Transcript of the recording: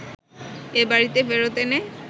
এ বাড়িতে ফেরত এনে